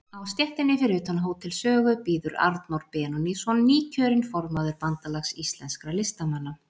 Á stéttinni fyrir utan Hótel Sögu bíður Arnór Benónýsson, nýkjörinn formaður Bandalags íslenskra listamanna.